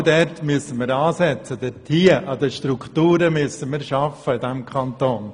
Genau dort müssen wir ansetzen, indem wir an den Strukturen des Kantons arbeiten.